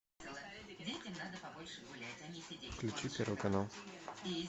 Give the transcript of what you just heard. включи первый канал